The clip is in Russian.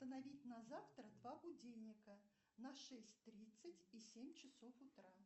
установить на завтра два будильника на шесть тридцать и семь часов утра